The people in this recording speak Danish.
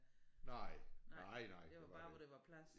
Nej nej nej det var det ikke